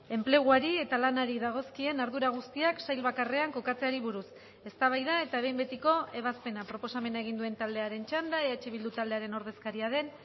enpleguari eta lanari dagozkien ardura guztiak sail bakarrean kokatzeari buruz eztabaida eta behin betiko ebazpena proposamena egin duen taldearen txanda eh bildu taldearen ordezkaria den